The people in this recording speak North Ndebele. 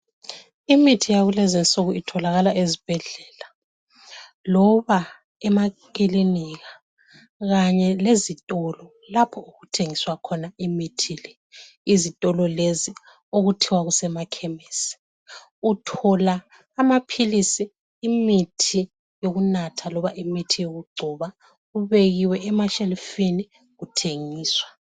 Imithi yakulezinsuku itholakala ezibhedlela loba emakilinika kanye lezitolo lapho okuthengiswa khona imithi le. Izitolo lezi okuthiwa kusemakhemisi uthola amaphilisi, imithi yokunatha loba imithi yokugcoba kubekiwe emashelufini kuthengiswa.